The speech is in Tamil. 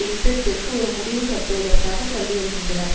யுத்திற்துக்கு ஒரு முடிவு கட்டுவதற்காக தள்ளிவருகின்றனர்